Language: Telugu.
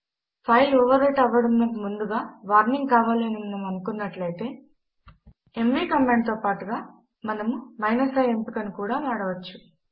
ఫైల్ ఓవర్ రైట్ అవ్వడమునకు ముందుగా వార్నింగ్ కావాలి అని మనము అనుకున్నట్లయితే ఎంవీ కమాండ్ తో పాటుగా మనము i ఎంపిక ను కూడా వాడవచ్చు